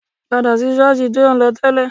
Padà sí ṣọ́ọ̀sì tí ò ń lọ tẹ́lẹ̀